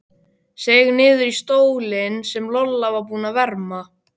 Seig niður í stólinn sem Lolla var búin að verma.